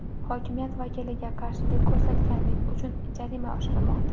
Hokimiyat vakiliga qarshilik ko‘rsatganlik uchun jarima oshirilmoqda.